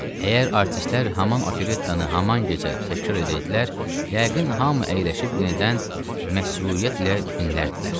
əgər artistlər haman operettanı haman gecə təkrar edəydilər, yəqin hamı əyləşib yenidən məsruriyyətlə dinlərdi.